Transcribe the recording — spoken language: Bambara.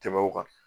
Tɛmɛn o kan